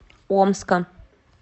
омска